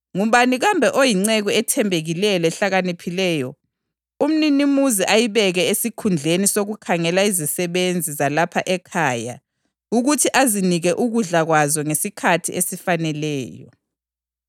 Ngubani kambe oyinceku ethembekileyo lehlakaniphileyo umninimuzi ayibeke esikhundleni sokukhangela izisebenzi zalapha ekhaya ukuthi azinike ukudla kwazo ngesikhathi esifaneleyo?